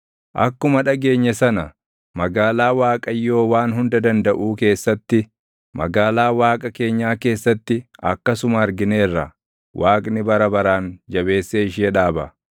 Akkuma dhageenye sana, magaalaa Waaqayyoo Waan Hunda Dandaʼuu keessatti, magaalaa Waaqa keenyaa keessatti, akkasuma argineerra; Waaqni bara baraan jabeessee ishee dhaaba.